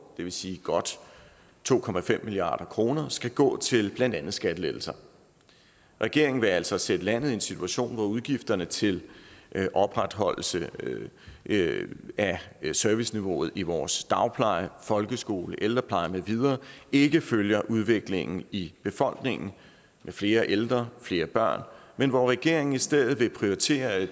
det vil sige godt to milliard kr skal gå til blandt andet skattelettelser regeringen vil altså sætte landet i en situation hvor udgifterne til opretholdelse af serviceniveauet i vores dagpleje folkeskole ældrepleje med videre ikke følger udviklingen i befolkningen med flere ældre og flere børn men hvor regeringen i stedet vil prioritere at